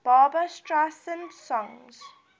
barbra streisand songs